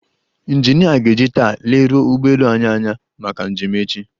Ịnjinịa ga-eji taa leruo ụgbọelu anyị anya maka njem echi.